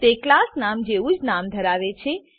તે ક્લાસ નામ જેવું જ નામ ધરાવે છે